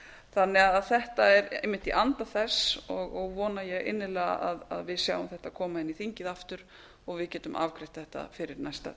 þannig að þetta er einmitt í anda þess og vona ég innilega að við sjáum þetta koma inn í þingið aftur og við getum afgreitt þetta fyrir næsta